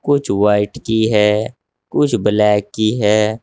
कुछ व्हाइट की है कुछ ब्लैक की है।